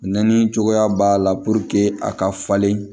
Nɛni cogoya b'a la a ka falen